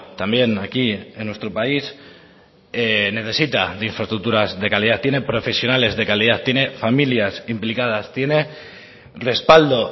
también aquí en nuestro país necesita de infraestructuras de calidad tiene profesionales de calidad tiene familias implicadas tiene respaldo